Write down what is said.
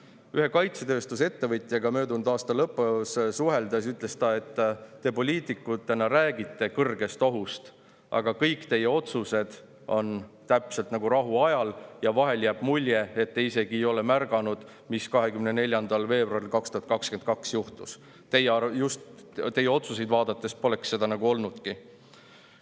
Kui ma ühe kaitsetööstusettevõtjaga möödunud aasta lõpus suhtlesin, ütles ta, et te poliitikutena räägite kõrgest ohust, aga kõik teie otsused on täpselt nagu rahuajal ja vahel jääb mulje, et te isegi ei ole märganud, mis 24. veebruaril 2022 juhtus, teie otsuseid vaadates poleks seda nagu olnudki.